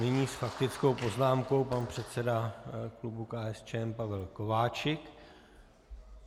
Nyní s faktickou poznámkou pan předseda klubu KSČM Pavel Kováčik.